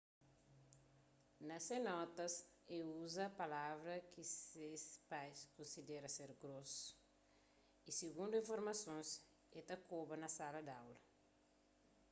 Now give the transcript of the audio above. na se notas el uza palavras ki se pais konsidera ser gross y sigundu informasons el ta koba na sala di aula